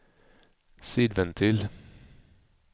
sidventil